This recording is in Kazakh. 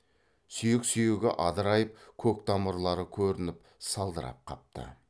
сүйек сүйегі адырайып көк тамырлары көрініп салдырап қапты